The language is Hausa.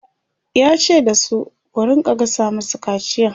yace da su "ku rinka gasa masa kaciyan!''